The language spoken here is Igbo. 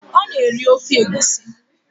Ọ na-eri ofe egusi